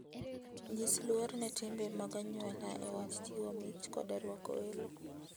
Nyis luor ne timbe mag anyuola e wach chiwo mich koda rwako welo.